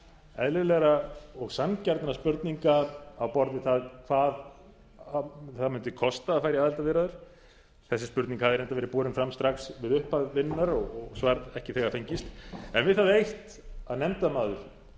eðlilegra og sanngjarnra spurninga á borð við það hvað það mundi kosta að fara í aðildarviðræður þessi spurning hafði reyndar verið borin fram strax við upphaf vinnunnar og svar ekki þegar fengist en við það eitt að nefndarmaður úr